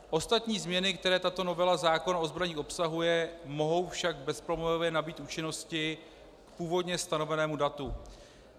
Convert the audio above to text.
Ostatní změny, které tato novela zákona o zbraních obsahuje, mohou však bezproblémově nabýt účinnosti k původně stanovenému datu.